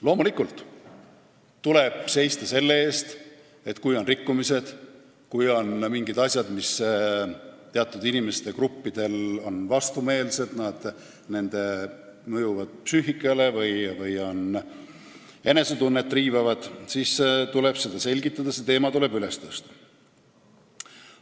Loomulikult tuleb seista selle eest, et kui on rikkumised ja mingid asjad, mis on teatud inimeste gruppidele vastumeelsed, mõjuvad nende psüühikale või riivavad enesetunnet, siis tuleb asja selgitada, see teema üles tõsta.